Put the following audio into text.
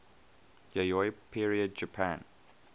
yayoi period japan